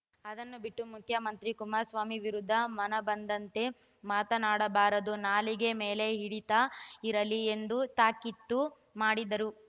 ಅದನ್ನು ಬಿಟ್ಟು ಮುಖ್ಯಮಂತ್ರಿ ಕುಮಾರಸ್ವಾಮಿ ವಿರುದ್ಧ ಮನಬಂದಂತೆ ಮಾತನಾಡಬಾರದು ನಾಲಿಗೆ ಮೇಲೆ ಹಿಡಿತ ಇರಲಿ ಎಂದು ತಾಕೀತು ಮಾಡಿದರು